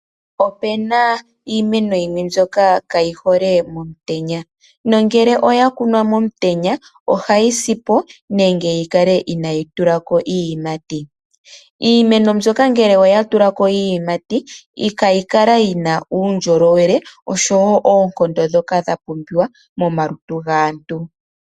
Opena iimeno yimwe mbyoka kayi hole momutenya nongele oya kunwa momutenya, ohayi si po nenge yi kale inayi tulako iiyimati . Iimeno mbyoka ngele oya tula ko iiyimati , kayi kala yina uundjolowele osho woo oonkondo dhoka dha pumbiwa momalutu gaantu .